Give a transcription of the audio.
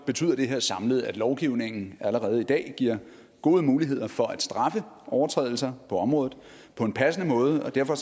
betyder det her samlet at lovgivningen allerede i dag giver gode muligheder for at straffe overtrædelser på området på en passende måde og derfor